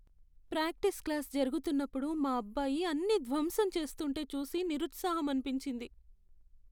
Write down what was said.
Practice class జరుగుతున్నప్పుడు మా అబ్బాయి అన్నీ ధ్వంసం చేస్తుంటే చూసి నిరుత్సాహం అనిపించింది.